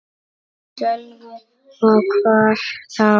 Sölvi: Og hvar þá?